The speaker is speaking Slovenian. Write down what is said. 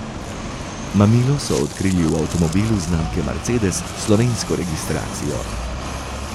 Mamilo so odkrili v avtomobilu znamke Mercedes s slovensko registracijo.